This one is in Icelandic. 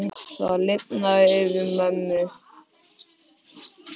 Það lifnaði yfir mömmu.